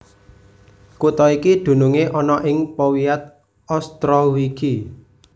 Kutha iki dunungé ana ing powiat Ostrowiecki